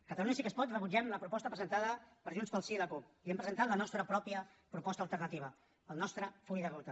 catalunya sí que es pot rebutgem la proposta presentada per junts pel sí i la cup i hem presentat la nostra pròpia proposta alternativa el nostre full de ruta